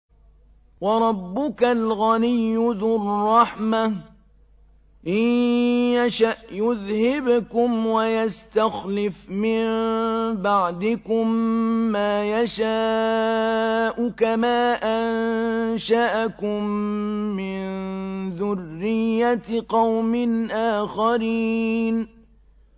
وَرَبُّكَ الْغَنِيُّ ذُو الرَّحْمَةِ ۚ إِن يَشَأْ يُذْهِبْكُمْ وَيَسْتَخْلِفْ مِن بَعْدِكُم مَّا يَشَاءُ كَمَا أَنشَأَكُم مِّن ذُرِّيَّةِ قَوْمٍ آخَرِينَ